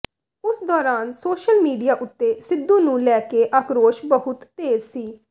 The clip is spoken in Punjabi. ਉਸ ਦੌਰਾਨ ਸੋਸ਼ਲ ਮੀਡਿਆ ਉੱਤੇ ਸਿੱਧੂ ਨੂੰ ਲੈ ਕੇ ਆਕਰੋਸ਼ ਬਹੁਤ ਤੇਜ਼ ਸੀ